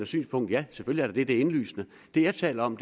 synspunkt ja selvfølgelig er det er indlysende det jeg taler om